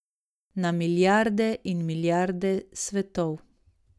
Na milijarde in milijarde svetov.